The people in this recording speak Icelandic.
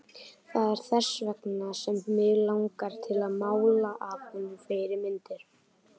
Það er þess vegna sem mig langar til að mála af honum fleiri myndir.